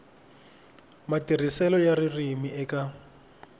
matirhiselo ya ririmi eka